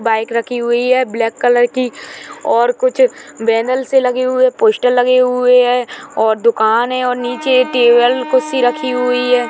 Bike रखी हुई है ब्लैक कलर की और कुछ बैनर से लगे हुए पोस्टर लगे हुए है और दुकान है नीचे टेबल कुर्सी रखी हुई है।